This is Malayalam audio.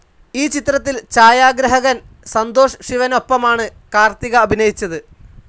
ഈ ചിത്രത്തിൽ ഛായാഗ്രാഹകൻ സന്തോഷ് ശിവനൊപ്പമാണ് കാർത്തിക അഭിനയിച്ചത്.